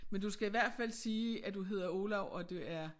Men du skal i hvert fald sige at du hedder Olav og du er